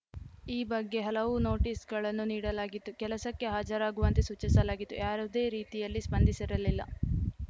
ಈ ಬಗ್ಗೆ ಹಲವು ನೋಟಿಸ್‌ಗಳನ್ನು ನೀಡಲಾಗಿತ್ತು ಕೆಲಸಕ್ಕೆ ಹಾಜರಗುವಂತೆ ಸೂಚಿಸಲಾಗಿತ್ತು ಯಾವುದೇ ರೀತಿಯಲ್ಲಿ ಸ್ಪಂದಿಸಿರಲಿಲ್ಲ